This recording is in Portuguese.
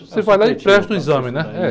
Você vai lá e presta o exame, né?